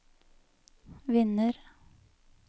vinner